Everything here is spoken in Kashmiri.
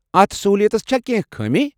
اتھ سہوٗلیتس چھا کٮ۪نٛہہ خٲمیہِ؟